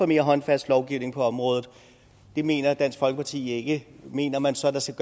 mere håndfast lovgivning på området det mener dansk folkeparti ikke mener man så at der skal